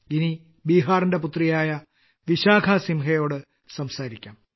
ഇനി ബീഹാറിന്റെ പുത്രിയായ വിശാഖസിംഹയോട് സംസാരിക്കാം